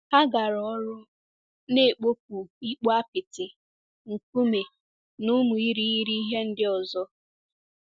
Ha gara ọrụ, na-ekpopụ ikpo apịtị, nkume, na ụmụ irighiri ihe ndị ọzọ.